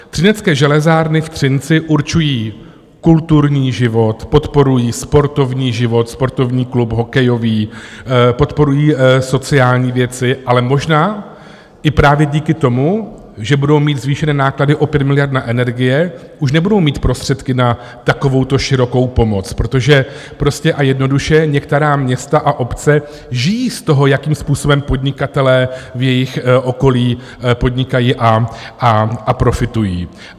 Třinecké železárny v Třinci určují kulturní život, podporují sportovní život, sportovní klub hokejový, podporují sociální věci, ale možná i právě díky tomu, že budou mít zvýšené náklady o 5 miliard na energie, už nebudou mít prostředky na takovouto širokou pomoc, protože prostě a jednoduše některá města a obce žijí z toho, jakým způsobem podnikatelé v jejich okolí podnikají a profitují.